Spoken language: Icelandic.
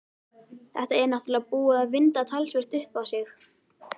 Þetta er náttúrlega búið að vinda talsvert upp á sig.